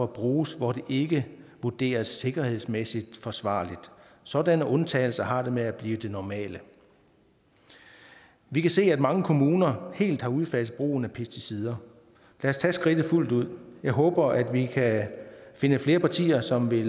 bruges hvor det ikke vurderes sikkerhedsmæssigt uforsvarligt sådanne undtagelser har det med at blive det normale vi vi kan se at mange kommuner helt har udfaset brugen af pesticider lad os tage skridtet fuldt ud jeg håber at vi kan finde flere partier som vil